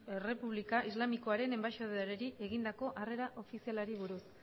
errepublika islamikoaren enbaxadoreari egindako harrera ofizialari buruz